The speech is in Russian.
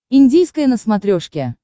индийское на смотрешке